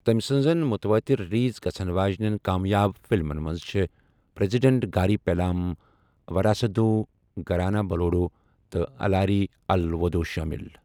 تمہِ سنزن متوٲتِر رِلیز گژھن واجنین كامیاب فِلمن منز چھے٘ پریزڈنٹ گاری پیلام ، وراسٗدوٗ، گھرانہ بلوڈوٗ تہٕ الاری الوٗدوٗ شٲمِل۔